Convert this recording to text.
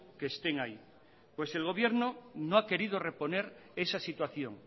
que estén ahí pues el gobierno no ha querido reponer esa situación